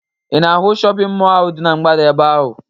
Ị na-ahụ shọpịn mọọ ahụ dị na mgbada ebe ahụ?